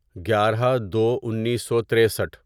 گیارہ دو انیسو تریسٹھ